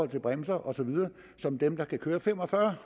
til bremser og så videre som dem der kan køre fem og fyrre